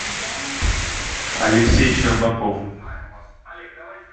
алексей щербаков